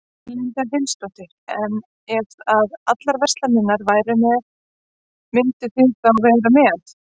Erla Hlynsdóttir: En ef að allar verslanir væru með, mynduð þið þá vera með?